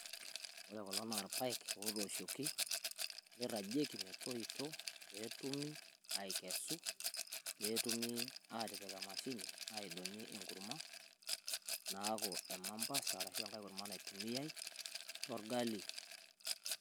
woore ilpaek otoshuoki niragieki metoito petumi aikesu petumi atipik emashini adong'i enkurma naaku emambasa aashu eng'ae kurma natumiyai tolgali